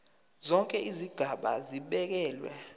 zonke izigaba zibekelwe